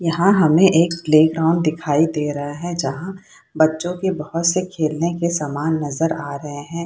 यहाँ हमें एक प्लेग्राउंड दिखाई दे रहा है जहाँ बच्चो के बहोत से खेलने के सामान नजर आ रहे हैं।